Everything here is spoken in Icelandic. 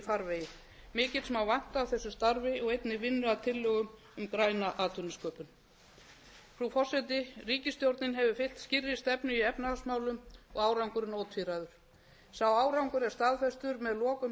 farvegi mikils má vænta af þessu starfi og einnig vinnu að tillögu um græna atvinnusköpun frú forseti ríkisstjórnin hefur fylgt skýrri stefnu í efnahagsmálum og árangurinn ótvíræður sá árangur er staðfestur með lokun